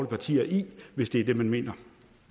partier i hvis det er det man mener